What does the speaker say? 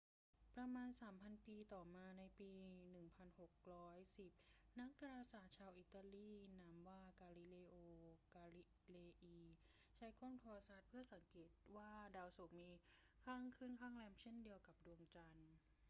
ประมาณสามพันปีต่อมา ในปี 1610 นักดาราศาสตร์ชาวอิตาลีนามว่า กาลิเลโอ กาลิเลอี ใช้กล้องโทรทรรศน์เพื่อสังเกตการณ์ว่าดาวศุกร์มีข้างขึ้นข้างแรมเช่นเดียวกับดวงจันทร์